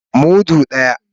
Mudu daya.